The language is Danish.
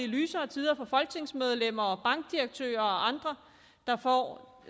lysere tider for folketingsmedlemmer og bankdirektører og andre der får